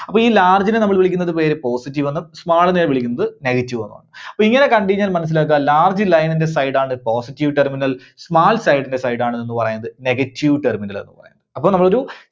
അപ്പോ ഈ large നെ നമ്മള് വിളിക്കുന്ന പേര് positive എന്നും small നെ വിളിക്കുന്നത് negative എന്നുമാണ്. അപ്പോ ഇങ്ങനെ കണ്ടു കഴിഞ്ഞാൽ മനസ്സിലാക്കുക large line ന്റെ side ആണ് positive terminal. small side ന്റെ side ആണ് എന്ത് പറയുന്നത് negative terminal എന്നുപറയുന്നത്. അപ്പോ നമ്മളൊരു